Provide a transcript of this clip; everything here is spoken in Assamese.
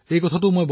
হয় মহোদয়